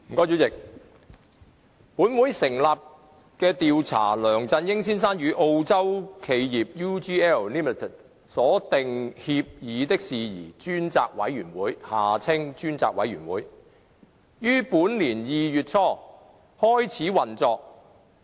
主席，本會成立的調查梁振英先生與澳洲企業 UGLLimited 所訂協議的事宜專責委員會於本年2月初開始運作。